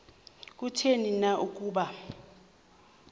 kutheni na ukuba